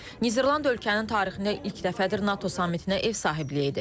Niderland ölkənin tarixində ilk dəfədir NATO samitinə ev sahibliyi edir.